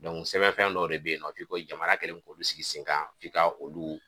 sɛbɛnfɛn dɔw de bɛ yen nɔ, f'i ko jamana kɛlen k'olu sigi sen kan f'i ka olu